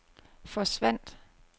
forsvandt